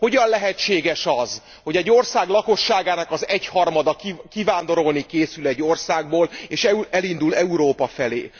Hogyan lehetséges az, hogy egy ország lakosságának az egyharmada kivándorolni készül egy országból, és elindul Európa felé.